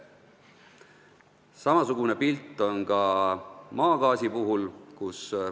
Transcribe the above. Samasugune pilt on ka maagaasi puhul.